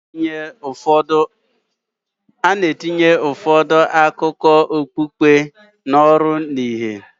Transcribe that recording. A na-etinye ụfọdụ akụkọ okpukpe n'ọrụ na ìhè